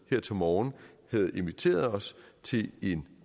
her til morgen havde inviteret os til en